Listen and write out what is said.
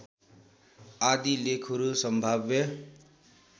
आदि लेखहरू सम्भाव्य